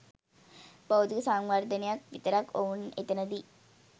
භෞතික සංවර්ධනයක් විතරක් ඔවුන් එතනදි